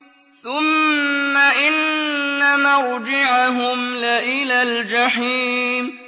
ثُمَّ إِنَّ مَرْجِعَهُمْ لَإِلَى الْجَحِيمِ